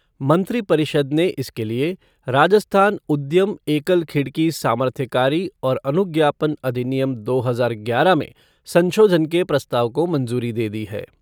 मंत्रिपरिषद ने इसके लिए राजस्थान उद्यम एकल खिड़की सामर्थ्यकारी और अनुज्ञापन अधिनियम दो हजार ग्यारह में संशोधन के प्रस्ताव को मंजूरी दे दी है।